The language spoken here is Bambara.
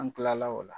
An kila la o la